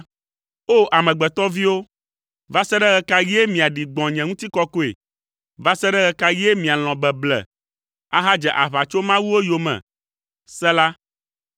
O! Amegbetɔviwo, va se ɖe ɣe ka ɣie miaɖi gbɔ̃ nye ŋutikɔkɔe? Va se ɣe ka ɣie mialɔ̃ beble, ahadze aʋatsomawuwo yome? Sela